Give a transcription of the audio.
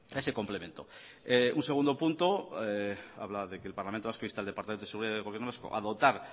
ese complemento un segundo punto habla de que el parlamento vasco insta al departamento de seguridad del gobierno vasco a dotar